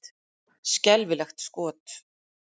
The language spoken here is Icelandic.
Skelfilegt skot!